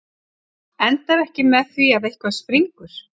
Endar ekki með því að eitthvað springur?